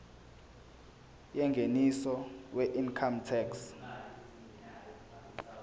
yengeniso weincome tax